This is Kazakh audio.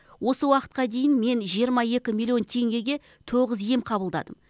осы уақытқа дейін мен жиырма екі миллион теңгеге тоғыз ем қабылдадым